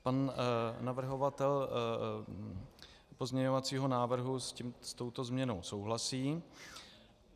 Pan navrhovatel pozměňovacího návrhu s touto změnou souhlasí.